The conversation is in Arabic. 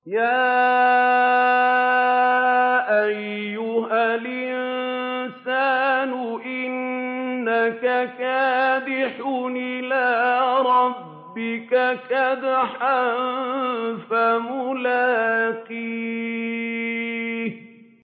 يَا أَيُّهَا الْإِنسَانُ إِنَّكَ كَادِحٌ إِلَىٰ رَبِّكَ كَدْحًا فَمُلَاقِيهِ